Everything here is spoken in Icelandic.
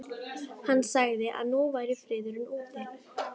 Hann sagði að nú væri friðurinn úti.